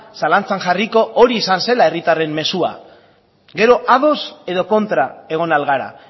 zalantzan jarriko hori izan zela herritarren mezua gero ados edo kontra egon ahal gara